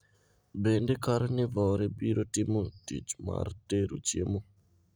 Bende Karnivore biro timo tich mar tero chiemo?